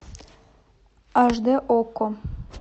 аш д окко